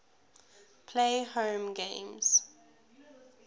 play home games